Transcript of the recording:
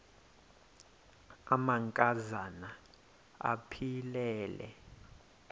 amanka zana aphilele